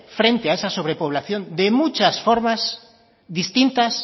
frente a esa sobre población de muchas formas distintas